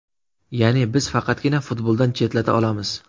Ya’ni, biz faqatgina futboldan chetlata olamiz.